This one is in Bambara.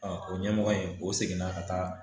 o ɲɛmɔgɔ in o seginna ka taa